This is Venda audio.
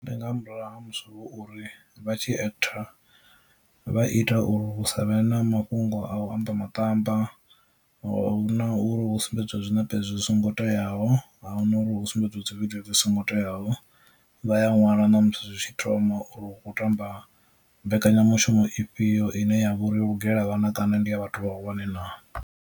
Ndi nga murahu ha musi hu uri vha tshi actor vha ita uri hu sa vhe na mafhungo a u amba maṱamba na uri hu sumbedziwe zwinepe zwi songo teaho ahuna uri hu sumbedziwe dzi vhidzwe dzi songo teaho, vha ya ṅwala na musi zwi tshi thoma uri hu khou tamba mbekanyamushumo ifhio ine ya vha uri yo lugela vhana kana ndi ya vhathu vha hulwane naa.